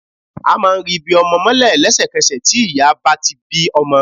A máa ri ibi ọmọ mọ́lẹ̀ lẹ́sẹ̀kẹsẹ̀ tí tí ìyá bá ti bí ọmọ